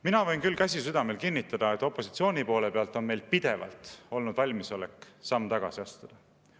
Mina võin küll, käsi südamel, kinnitada, et opositsiooni poole peal on meil pidevalt olnud valmisolek samm tagasi astuda.